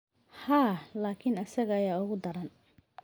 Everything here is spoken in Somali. Haa, laakiin isaga ayaa uga daran.